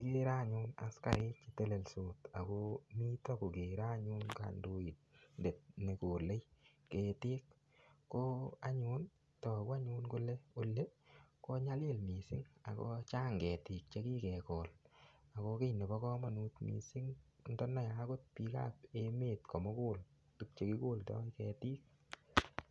Kigere anyun askarik chetelelsot ako mito kokere anyun kandidet nekolei ketik ko anyun toku anyun kole oli kinyalil mising' ako chang' ketik chekiketil ako kii nebo kamonut mising' ndaniei akot biikab emet komugul tukche kikoldoi ketik